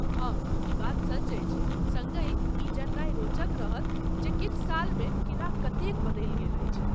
हाँ ,ई बात सच अछि। सङ्गहि, ई जननाइ रोचक रहत जे किछु सालमे किला कतेक बदलि गेल अछि।